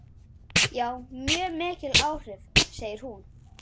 Já, mjög mikil áhrif, segir hún.